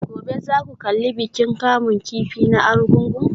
Gobe ​​za ku kalli bikin kamun kifi na Argungu?